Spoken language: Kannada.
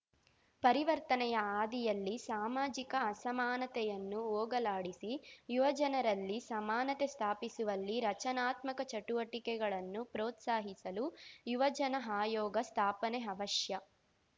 ಪರಿವರ್ತನೆಯ ಹಾದಿಯಲ್ಲಿ ಸಾಮಾಜಿಕ ಅಸಮಾನತೆಯನ್ನು ಹೋಗಲಾಡಿಸಿ ಯುವ ಜನರಲ್ಲಿ ಸಮಾನತೆ ಸ್ಥಾಪಿಸುವಲ್ಲಿ ರಚನಾತ್ಮಕ ಚಟುವಟಿಕೆಗಳನ್ನು ಪ್ರೋತ್ಸಾಹಿಸಲು ಯುವಜನ ಆಯೋಗ ಸ್ಥಾಪನೆ ಅವಶ್ಯ